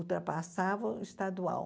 Ultrapassava o estadual.